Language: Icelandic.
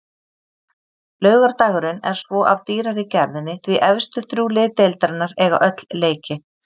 Laugardagurinn er svo af dýrari gerðinni því efstu þrjú lið deildarinnar eiga öll leiki.